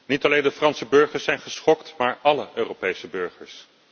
Niet alleen de Franse burgers zijn geschokt, maar álle Europese burgers.